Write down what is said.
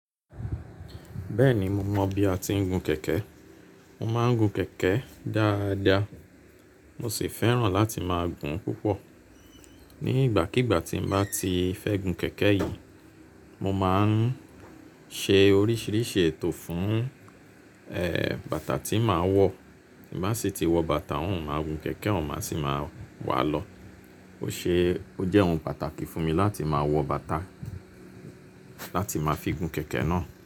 Bẹ́ẹ̀ni mo mọ̀ bí a ti ń gun kẹ̀kẹ́. Mo máa ń gun kẹ̀kẹ́ dáadáa mo sì fẹ́ràn láti máa gùn-ún púpọ̀. Ni ìgbàkígbà tí n bá ti fẹ́ gun kẹ̀kẹ́ yìí, mo máa ń ṣe oríṣìíríṣìí ètò fún, ẹ́, bàtà tí màá wọ̀. Tí n bá sì ti wọ bàtà òún máa gun kẹ̀kẹ́ n máa sì máa wàá lọ. Ó ṣe, ó jẹ́ ohun pàtàkì fún mi láti máa wọ bàtà, láti máa fi gun kẹ̀kẹ́ náà.